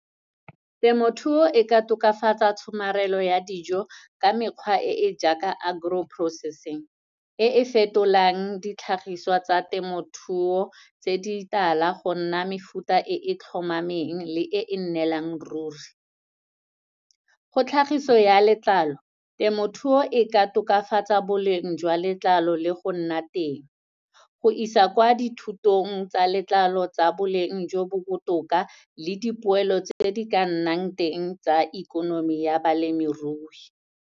Temothuo e ka tokafatsa tshomarelo ya dijo ka mekgwa e e jaaka agro-processing, e e fetolang ditlhagiswa tsa temothuo, tse di tala go nna mefuta e tlhomameng le e e neelang ruri. Go tlhagiso ya letlalo, temothuo e ka tokafatsa boleng jwa letlalo le go nna teng, go isa kwa dithutong tsa letlalo tsa boleng jo bo botoka le dipoelo tse di ka nnang teng tsa ikonomi ya balemirui.